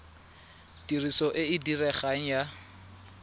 tiriso e e diregang ya